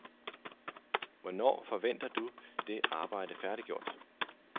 Hvornår forventer du det arbejde færdiggjort?